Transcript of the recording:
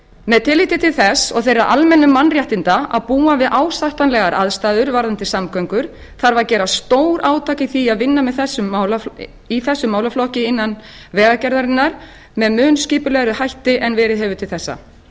með tilliti til þess og þeirra almennu mannréttinda að búa við ásættanlegar aðstæður varðandi samgöngur þarf að gera stórátak í því að vinna í þessum málaflokki innan vegagerðarinnar með mun skipulegri hætti en verið hefur til þessa